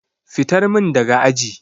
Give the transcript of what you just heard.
Fitar min daga aji.